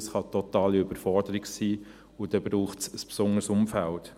Es kann eine totale Überforderung sein, und dann braucht es ein besonderes Umfeld.